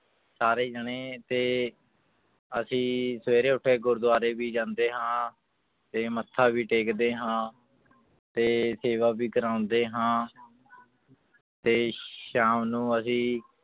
ਸਾਰੇ ਜਾਣੇ ਤੇ ਅਸੀਂ ਸਵੇਰੇ ਉੱਠ ਕੇ ਗੁਰੂਦੁਆਰੇ ਵੀ ਜਾਂਦੇ ਹਾਂ ਤੇ ਮੱਥਾ ਵੀ ਟੇਕਦੇ ਹਾਂ ਤੇ ਸੇਵਾ ਵੀ ਕਰਵਾਉਂਦੇ ਹਾਂ ਤੇ ਸ਼ਾਮ ਨੂੰ ਅਸੀਂ